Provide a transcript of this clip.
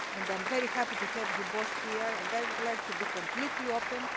I am very happy to have you both here and I would like to be completely open.